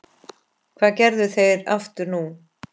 Það gerðu þeir aftur nú.